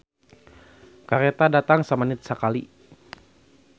"Kareta datang samenit sakali"